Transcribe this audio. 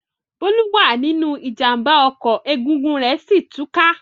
Bólú wà nínú ìjàmbá ọkọ̀ egungun rẹ̀ sí ì tú ká.